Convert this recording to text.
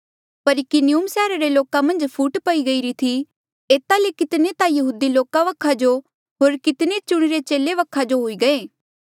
पर इकुनियुम सैहरा रे लोका मन्झ फूट पई गई थी एता ले कितने ता यहूदी लोका वखा जो होर कितने चुणिरे चेले वखा जो हुई गये